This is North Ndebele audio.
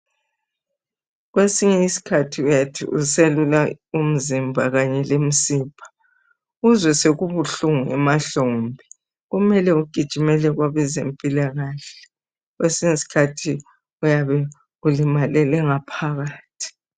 Kwesinye isikhathi uyathi uselula umzimba kanye lemsipha uzwe sekubuhlungu emahlombe. Kumele ugijimele kwabezempilakahle, kwesinye isikhathi uyabe ulimalele ngaphakathi.